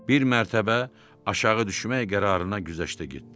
Bir mərtəbə aşağı düşmək qərarına güzəştə getdi.